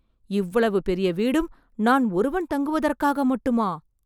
இவ்வளவு பெரிய வீடும் நான் ஒருவன் தாங்குவதற்காக மட்டுமா!